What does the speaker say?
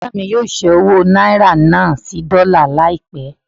Bùrọ̀dá mí yóò ṣẹ́ owó náírà náà sí dọ́là láìpẹ́.